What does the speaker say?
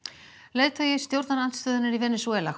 leiðtogi stjórnarandstöðunnar í Venesúela